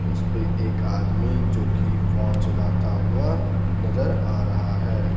उस पे एक आदमी जो की फोन चलाता हुआ नजर आ रहा है.